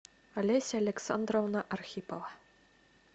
олеся александровна архипова